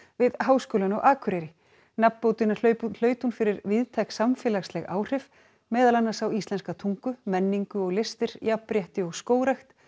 við Háskólann á Akureyri nafnbótina hlaut hún hlaut hún fyrir víðtæk samfélagsleg áhrif meðal annars á íslenska tungu menningu og listir jafnrétti og skógrækt